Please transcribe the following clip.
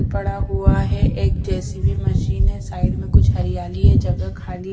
पड़ा हुआ है एक जे_सी_बी मशीन है साइड में कुछ हरियाली है जगह खाली--